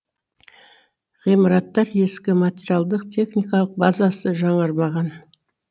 ғимараттар ескі материалдық техникалық базасы жаңармаған